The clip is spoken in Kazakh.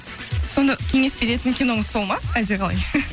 сонда кеңес беретін киноңыз сол ма әлде қалай